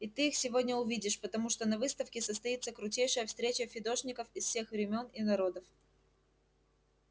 и ты их сегодня увидишь потому что на выставке состоится крутейшая встреча фидошников всех времён и народов